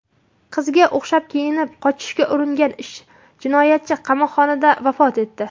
Qiziga o‘xshab kiyinib qochishga uringan jinoyatchi qamoqxonada vafot etdi.